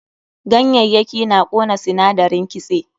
Ganyayyaki na ƙona sinadarin kitse.